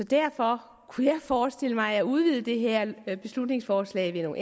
derfor kunne jeg forestille mig at udvide det her beslutningsforslag gennem